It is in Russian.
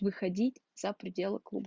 выходить за пределы клуба